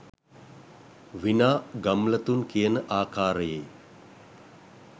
විනා ගම්ලතුන් කියන ආකාරයේ